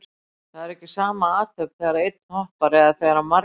Það er ekki sama athöfn þegar einn hoppar eða þegar margir hoppa.